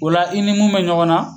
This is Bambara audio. Ola i ni mun bɛ ɲɔgɔn na.